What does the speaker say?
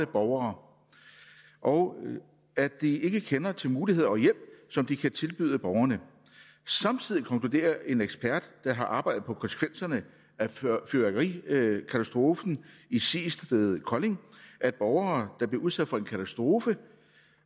borgere og at de ikke kender til muligheder og hjælp som de kan tilbyde borgerne samtidig konkluderer en ekspert der har arbejdet på konsekvenserne af fyrværkerikatastrofen i seest ved kolding at borgere der blev udsat for en katastrofe